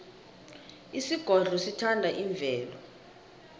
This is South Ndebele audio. isigodlo sithanda imvelo